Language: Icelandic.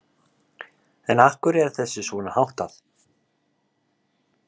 En af hverju er þessu svona háttað?